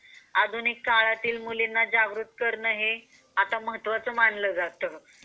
आधुनिक काळातील मुलींना जागृत करणे हे महत्त्वाचं मानलं जातं.